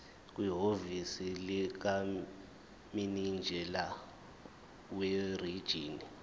kwihhovisi likamininjela werijini